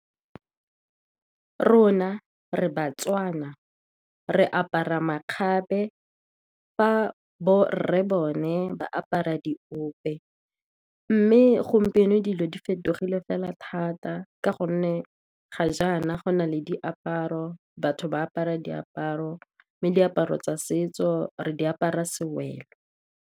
Rona re BaTswana, re apara makgabe, fa borre bone ba apara diope. Mme gompieno dilo di fetogile fela thata, ka gonne ga jaana go na le diaparo, batho ba apara diaparo, mme diaparo tsa setso re di apara sewelo.